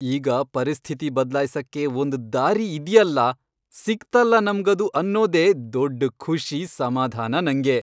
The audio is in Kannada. ಈಗ ಪರಿಸ್ಥಿತಿ ಬದ್ಲಾಯ್ಸಕ್ಕೆ ಒಂದ್ ದಾರಿ ಇದ್ಯಲ್ಲ, ಸಿಕ್ತಲ್ಲ ನಮ್ಗದು ಅನ್ನೋದೇ ದೊಡ್ಡ್ ಖುಷಿ, ಸಮಾಧಾನ ನಂಗೆ.